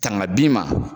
Tanga bi ma